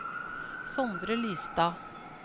Sondre Lystad